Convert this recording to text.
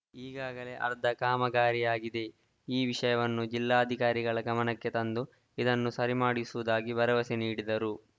ಈಗಾಗಲೆ ಅರ್ಧ ಕಾಮಗಾರಿಯಾಗಿದೆ ಈ ವಿಷಯವನ್ನು ಜಿಲ್ಲಾಧಿಕಾರಿಗಳ ಗಮನಕ್ಕೆ ತಂದು ಇದನ್ನು ಸರಿ ಮಾಡಿಸುವುದಾಗಿ ಭರವಸೆ ನೀಡಿದರು